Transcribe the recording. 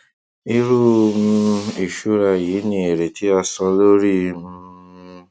irú um ìṣura yìí ní èrè tí a san lórí um